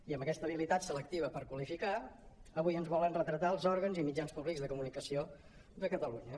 i amb aquesta habilitat selectiva per qualificar avui ens volen retratar els òrgans i mitjans públics de comunicació de catalunya